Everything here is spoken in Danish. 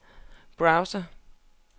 browser